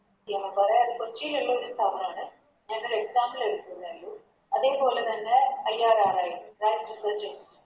കോച്ചിലുള്ളൊരു സ്ഥാപനാണ് ഞാനൊരു Example എടുത്തുന്നെ ഇള്ളൂ അതെ പോലെ തന്നെ IRR ഞാൻ Reaserch ചെയ്യുന്നത്